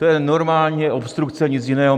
To je normální obstrukce, nic jiného.